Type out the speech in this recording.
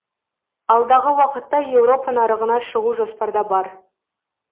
алдағы уақытта еуропа нарығына шығу жоспарда бар